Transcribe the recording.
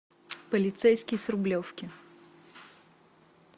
полицейский с рублевки